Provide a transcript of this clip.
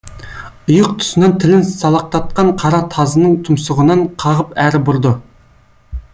иық тұсынан тілін салақтатқан қара тазының тұмсығынан қағып әрі бұрды